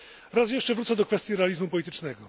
Raz jeszcze wrócę do kwestii realizmu politycznego.